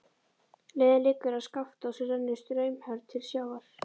Leiðin liggur að Skaftá sem rennur straumhörð til sjávar.